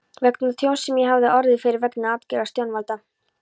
vegna tjóns sem ég hafði orðið fyrir vegna aðgerða stjórnvalda.